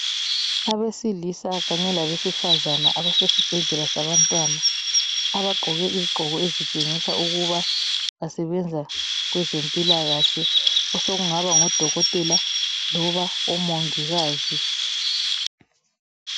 Abesilisa kanye labesifazana abasesibhedlela sabantwana abagqoke izigqoko ezitshengisa ukuba basebenza kwezempilakahle osokungaba ngodokotela loba omongikazi